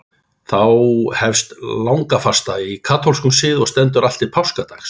Þá hefst langafasta í katólskum sið og stendur allt til páskadags.